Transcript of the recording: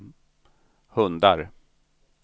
hundar